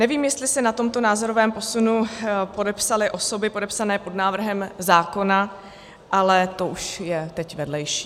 Nevím, jestli se na tomto názorovém posunu podepsaly osoby podepsané pod návrhem zákona, ale to už je teď vedlejší.